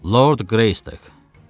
Lord Greystoke.